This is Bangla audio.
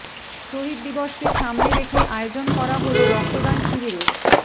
শহীদ দিবসকে সামনে রেখে আয়োজন করা হল রক্তদান শিবিরের